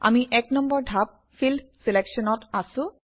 আমি এক নম্বৰ ধাপ - ফিল্ড Selection অত আছোঁ